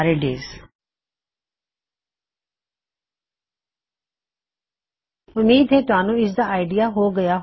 ਉੱਮੀਦ ਕਰਦਾ ਹਾਂ ਕਿ ਤੁਹਾਨੂੰ ਕੁਛ ਸਮਝ ਆਇਆ ਹੋਵੇਗਾ